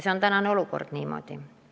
Praegune olukord on tõesti niisugune.